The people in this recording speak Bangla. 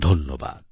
ধন্যবাদ